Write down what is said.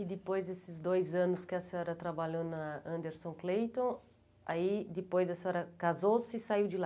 E depois desses dois anos que a senhora trabalhou na Anderson Clayton, aí depois a senhora casou-se e saiu de lá?